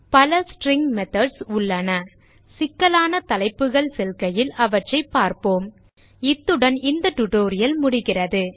பல string methods உள்ளன சிக்கலான தலைப்புகள் செல்கையில் அவற்றை பார்ப்போம் இத்துடன் இந்த டியூட்டோரியல் முடிகிறது